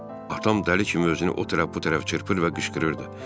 Atam dəli kimi özünü o tərəf bu tərəf çırpır və qışqırırdı.